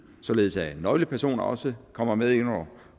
således at nøglepersoner også kommer med ind